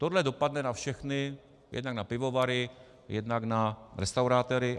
Tohle dopadne na všechny, jednak na pivovary, jednak na restauratéry.